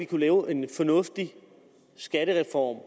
kunne lave en fornuftig skattereform